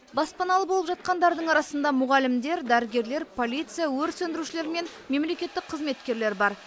баспаналы болып жатқандардың арасында мұғалімдер дәрігерлер полиция өрт сөндірушілер мен мемлекеттік қызметкерлер бар